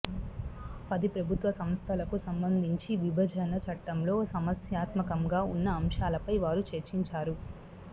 పది ప్రభుత్వ సంస్థలకు సంబంధించి విభజన చట్టంలో సమస్యాత్మకంగా ఉన్న అంశాలపై వారు చర్చించారు